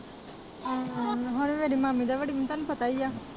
ਹੁਣ ਵੱਡੀ ਮਾਮੀ ਦਾ ਵੱਡੀ ਦਾ ਤੈਨੂੰ ਪਤਾ ਹੀ ਆ